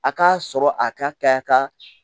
A k'a sɔrɔ a ka